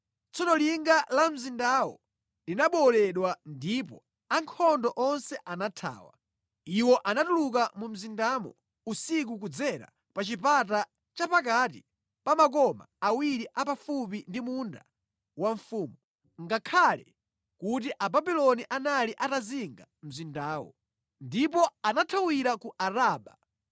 Tsono linga la mzindawo linabowoledwa, ndipo ankhondo onse anathawa. Iwo anatuluka mu mzindamo usiku kudzera pa chipata cha pakati pa makoma awiri a pafupi ndi munda wa mfumu, ngakhale kuti Ababuloni anali atazinga mzindawo. Ndipo anathawira ku Araba,